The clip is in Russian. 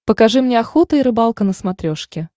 покажи мне охота и рыбалка на смотрешке